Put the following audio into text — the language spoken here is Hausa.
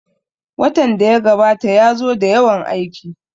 Watan da ya gabata ya zo da yawan aiki